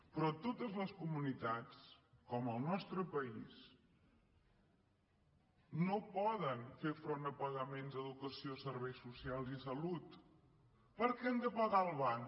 però totes les comunitats com el nostre país no poden fer front a pagaments d’educació serveis socials i salut perquè han de pagar al banc